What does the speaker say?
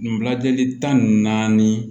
Nin lajɛli tan ni naani